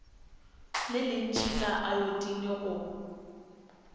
le lentši la ayotine go